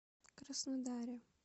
краснодаре